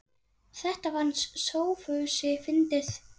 Þetta fannst Sófusi fyndið.